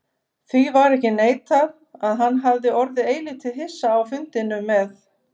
Því varð ekki neitað, að hann hafði orðið eilítið hissa á fundinum með